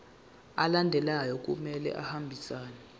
alandelayo kumele ahambisane